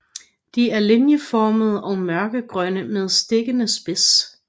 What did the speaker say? De er linjeformede og mørkegrønne med stikkende spids